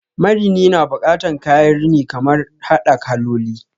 Marini na bukatan kayan rini kamar hada kaloli